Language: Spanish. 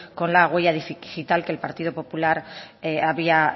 con la huella digital que el partido popular había